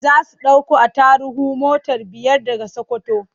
Za su ɗauko attaruhu mota biyar daga Sakkwato.